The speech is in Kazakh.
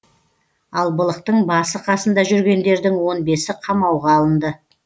ал былықтың басы қасында жүргендердің он бесі қамауға алынды